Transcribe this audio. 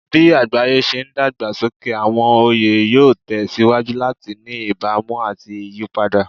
Bí àgbáyé ṣe ń dàgbà sókè, àwọn oyè yóò tẹ̀ síwájú láti ní ìbámu àti ìyípadà.